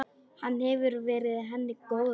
Hann hefur verið henni góður.